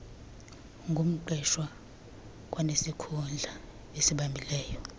ngumqeshwa kwanesikhundla asibambileyo